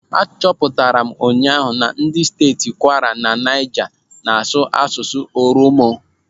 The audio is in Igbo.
Achọpụtara m ụnyaahụ na ndị steeti Kwara na Naija na-asụ asụsụ Oromo.